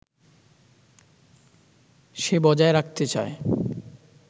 সে বজায় রাখতে চায়